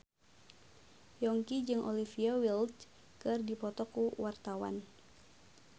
Yongki jeung Olivia Wilde keur dipoto ku wartawan